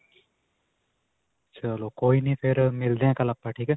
ਚਲੋ ਕੋਈ ਨਹੀਂ ਫਿਰ ਮਿਲਦੇ ਕਲ੍ਹ ਆਪਾਂ. ਠੀਕ ਹੈ.